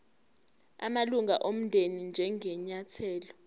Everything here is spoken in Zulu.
amalunga omndeni njengenyathelo